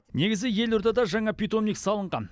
негізі елордада жаңа питомник салынған